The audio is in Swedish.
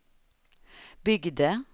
byggde